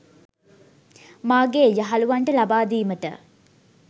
මාගේ යහලුවන්ට ලබාදීමට